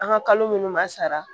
An ka kalo minnu ma sara